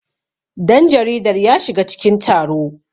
danjaridar ya shiga cikin taro